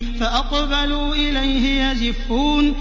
فَأَقْبَلُوا إِلَيْهِ يَزِفُّونَ